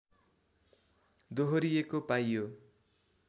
दोहोरिएको पाइयो